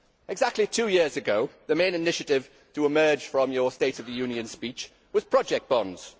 Exactly two years ago the main initiative to emerge from your State of the Union speech was project bonds.